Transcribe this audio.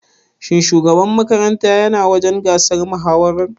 Shin shugaban makarantar ya na wajen gasar mahawarar?